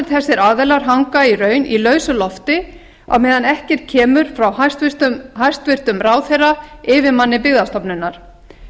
þessir aðilar hanga í raun í lausu lofti á meðan ekkert kemur frá hæstvirtum ráðherra yfirmanni byggðastofnunar